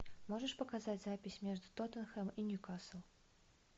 можешь показать запись между тоттенхэм и ньюкасл